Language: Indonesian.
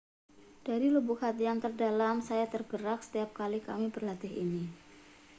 dari lubuk hati yang terdalam saya tergerak setiap kali kami berlatih ini